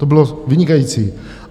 To bylo vynikající.